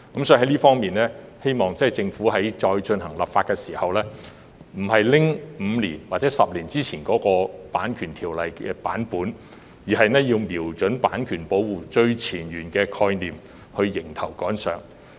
就此，我們希望政府再次修例時，不會沿用5年或10年前的《版權條例》建議修訂版本，而是應瞄準版權保護最前沿的概念，迎頭趕上。